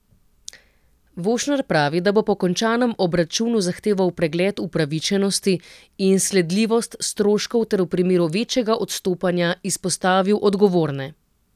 Vošner pravi, da bo po končnem obračunu zahteval pregled upravičenosti in sledljivost stroškov ter v primeru večjega odstopanja izpostavil odgovorne.